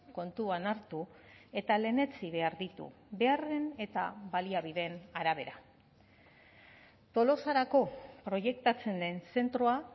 kontuan hartu eta lehenetsi behar ditu beharren eta baliabideen arabera tolosarako proiektatzen den zentroa